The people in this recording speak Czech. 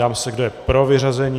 Ptám se, kdo je pro vyřazení.